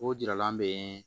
O jiralan bɛ